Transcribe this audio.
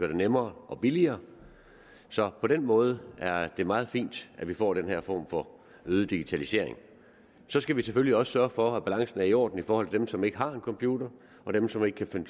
det nemmere og billigere så på den måde er det meget fint at vi får den her form for øget digitalisering så skal vi selvfølgelig også sørge for at balancen er i orden i forhold til dem som ikke har en computer og dem som ikke kan